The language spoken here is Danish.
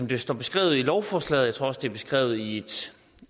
det står beskrevet i lovforslaget jeg tror også det er beskrevet i